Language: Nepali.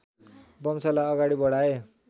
वंशलाई अगाडि बढाए